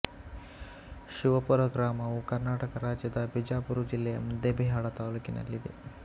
ಶಿವಪುರ ಗ್ರಾಮವು ಕರ್ನಾಟಕ ರಾಜ್ಯದ ಬಿಜಾಪುರ ಜಿಲ್ಲೆಯ ಮುದ್ದೇಬಿಹಾಳ ತಾಲ್ಲೂಕಿನಲ್ಲಿದೆ